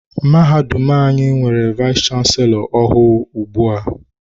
Mahadum anyị nwere vayis chansilọ ọhụụ ugbu a.